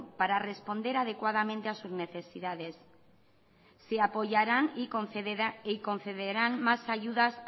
para responder adecuadamente a sus necesidades se apoyarán y concederán más ayudas